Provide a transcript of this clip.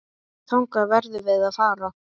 Þangað verðum við að fara.